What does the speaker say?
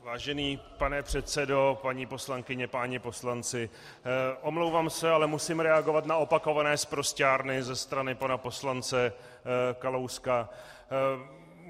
Vážený pane předsedo, paní poslankyně, páni poslanci, omlouvám se, ale musím reagovat na opakované sprosťárny ze strany pana poslance Kalouska.